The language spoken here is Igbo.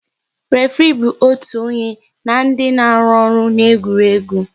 Référé bụ otu onye na ndị na-arụ ọrụ n'egwuregwu